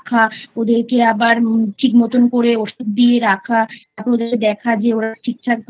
ওদেরকে আবার ঠিক মতোন করে ওষুধ দিয়ে রাখা ওদেরকে দেখা যে ওরা ঠিক ঠাক ভাবে